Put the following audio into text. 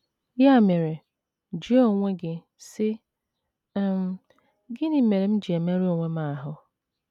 Ya mere, jụọ onwe gị, sị: um ‘ Gịnị mere m ji emerụ onwe m ahụ́?